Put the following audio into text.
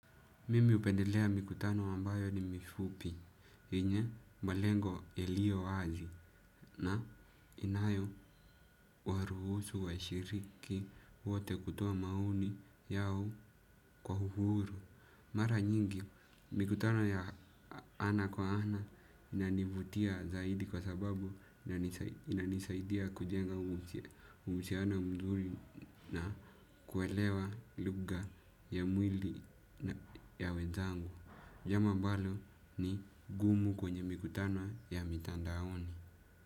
Mimi hupendelea mikutano ambayo ni mifupi, yenye malengo yalio wazi na inayowaruhusu, washiriki, wote kutoa mauni yao kwa uhuru. Mara nyingi mikutano ya ana kwa ana inanivutia zaidi kwa sababu na inanisaidia kujenga uhusiano mzuri na kuelewa lugha ya mwili ya wenzangu. Jambo ambalo ni ngumu kwenye mikutano ya mitandaoni.